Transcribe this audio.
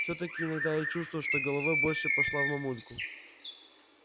всё-таки иногда я чувствую что головой больше пошла в мамульку